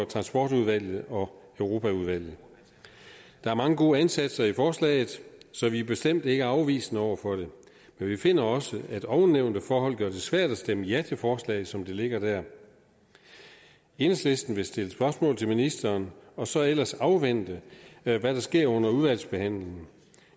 transportudvalget og europaudvalget der er mange gode ansatser i forslaget så vi er bestemt ikke afvisende over for det men vi finder også at ovennævnte forhold gør det svært at stemme ja til forslaget som det ligger der enhedslisten vil stille spørgsmål til ministeren og så ellers afvente hvad der sker under udvalgsbehandlingen